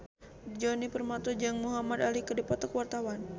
Djoni Permato jeung Muhamad Ali keur dipoto ku wartawan